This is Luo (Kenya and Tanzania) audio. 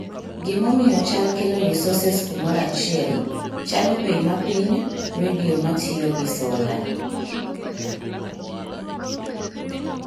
gimomiyo chal kelo resources kumora achiel (chalo bei mapiny , radio matiyo gi sola